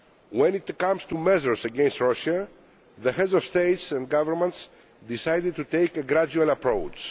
When it comes to measures against Russia, the Heads of State and Government have decided to take a gradual approach.